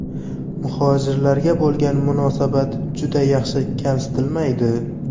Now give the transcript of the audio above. Muhojirlarga bo‘lgan munosabat juda yaxshi, kamsitilmaydi.